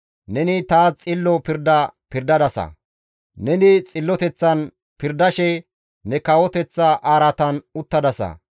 Neni taas xillo pirda pirdadasa; neni xilloteththan pirdashe ne kawoteththa araatan uttadasa.